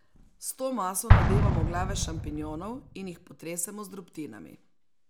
S to maso nadevamo glave šampinjonov in jih potresemo z drobtinami.